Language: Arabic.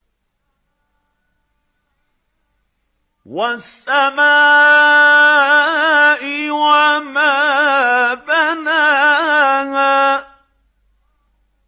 وَالسَّمَاءِ وَمَا بَنَاهَا